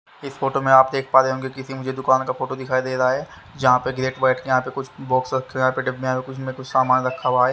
इस फोटो में आप देख पा रहे होंगे किसी मुझे दुकान का फोटो दिखाई दे रहा हैं जहाँ पर ग्रेट बेड के यहाँ पे कुछ बॉक्स रखे हुए हैं यहाँ पे डिब्बे में कुछ सामान रखा हुआ हैं।